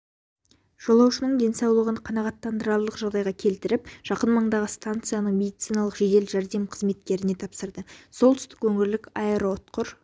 жолаушының денсаулығын қанағаттанарлық жағдайға келтіріп жақын маңдағы станцияның медициналық жедел жәрдем қызметкерлеріне тапсырды солтүстік өңірлік аэроұтқыр